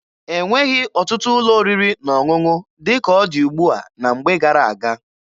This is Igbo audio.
E nweghị ọtụtụ ụlọ oriri na ọṅụṅụ dị ka ọ dị ugbua na mgbe gara-aga.